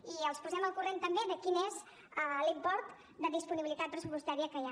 i els posem al corrent també de quin és l’import de disponibilitat pressupostària que hi ha